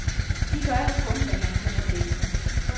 De gør jo kun, hvad man kan forvente.